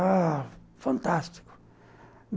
Ah, fantástico!